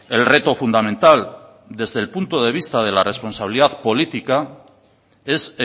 el reto fundamental desde el punto de vista de la responsabilidad política es